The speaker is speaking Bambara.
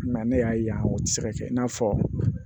Nka ne y'a ye yan o tɛ se ka kɛ i n'a fɔ